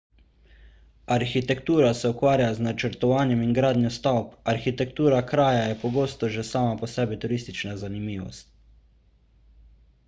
arhitektura se ukvarja z načrtovanjem in gradnjo stavb arhitektura kraja je pogosto že sama po sebi turistična zanimivost